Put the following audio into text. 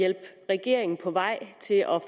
hjælpe regeringen på vej til at